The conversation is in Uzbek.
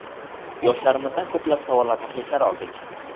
Yoshlarimizdan ko‘plab savol va takliflar oldik.